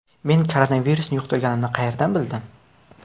Men koronavirusni yuqtirganimni qayerdan bildim?